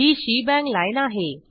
he shebang lineआहे